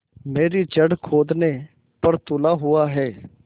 मेरी जड़ खोदने पर तुला हुआ है